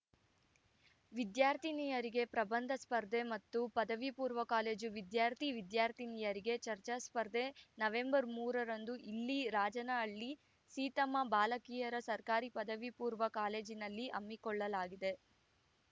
ವಿದ್ಯಾರ್ಥಿನಿಯರಿಗೆ ಪ್ರಬಂಧ ಸ್ಪರ್ಧೆ ಮತ್ತು ಪಪೂ ಕಾಲೇಜು ವಿದ್ಯಾರ್ಥಿ ವಿದ್ಯಾರ್ಥಿನಿಯರಿಗೆ ಚರ್ಚಾ ಸ್ಪರ್ಧೆ ನವೆಂಬರ್ ಮೂರ ರಂದು ಇಲ್ಲಿನ ರಾಜನಹಳ್ಳಿ ಸೀತಮ್ಮ ಬಾಲಕಿಯರ ಸರ್ಕಾರಿ ಪಪೂ ಕಾಲೇಜಿನಲ್ಲಿ ಹಮ್ಮಿಕೊಳ್ಳಲಾಗಿದೆ